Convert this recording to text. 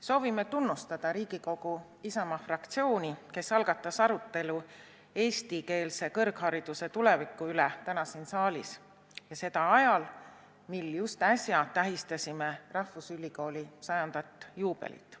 Soovime tunnustada Riigikogu Isamaa fraktsiooni, kes algatas siin saalis arutelu eestikeelse kõrghariduse tuleviku üle ja tegi seda ajal, kui just äsja tähistasime rahvusülikooli 100 aasta juubelit.